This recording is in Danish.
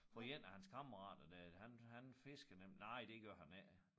For 1 af hans kammerater dér han han fiskede nemlig nej det gør han ikke